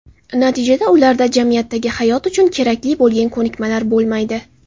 Natijada ularda jamiyatdagi hayot uchun kerakli bo‘lgan ko‘nikmalar bo‘lmaydi.